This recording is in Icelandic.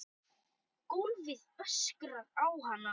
Gólfið öskrar á hana.